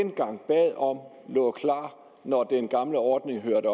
dengang bad om lå klar når den gamle ordning hørte